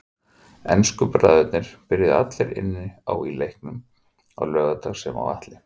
Ensku bræðurnir byrjuðu allir inn á í leiknum á laugardag sem og Atli.